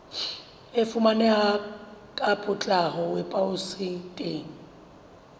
e fumaneha ka potlako weposaeteng